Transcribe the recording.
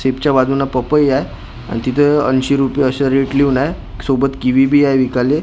Chip च्या बाजून पपई हाय आणि तिथं ऐंशी रुपये अस रेट लिवलाय सोबत किवी बी हाय विकाले.